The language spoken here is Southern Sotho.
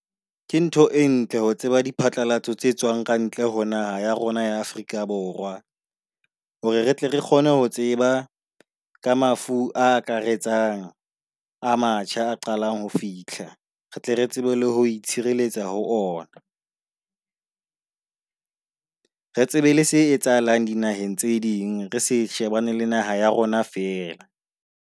Ke ntho e ntle ho tseba di phatlalatso tse tswang kantle ho naha ya rona ya Afrika Borwa. Hore re tle re kgone ho tseba ka mafu a akaretsang a matjha a qalang ho fihla, re tle re tsebe le ho itshireletsa ho ona. Re tsebe le se etsahalang dinaheng tse ding. Re se shebane le naha ya rona fela.